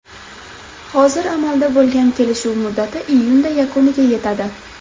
Hozir amalda bo‘lgan kelishuv muddati iyunda yakuniga yetadi.